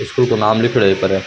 इसके ऊपर नाम लिखेड़ो है बि पर।